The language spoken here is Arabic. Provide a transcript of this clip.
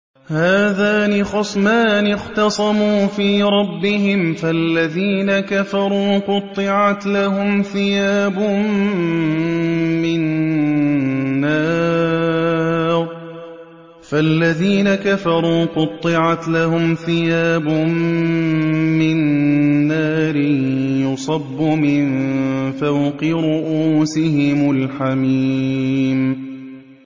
۞ هَٰذَانِ خَصْمَانِ اخْتَصَمُوا فِي رَبِّهِمْ ۖ فَالَّذِينَ كَفَرُوا قُطِّعَتْ لَهُمْ ثِيَابٌ مِّن نَّارٍ يُصَبُّ مِن فَوْقِ رُءُوسِهِمُ الْحَمِيمُ